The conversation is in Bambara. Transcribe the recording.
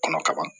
Kɔnɔ kaban